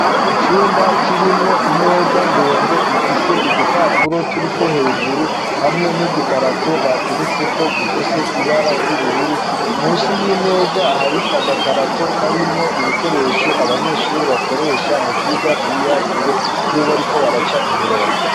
Icumba kirimwo imeza ndende ifise udupapuro turi ko hejuru ,hamwe n'udukarato bateretse ko dufise ibara ry'ubururu munsi y'imeza hari agakarato k'arimwo ibikoresho ,abanyeshuri bakoresha mu byigwa by'ibiharuro iyo bariko baraca imirongo.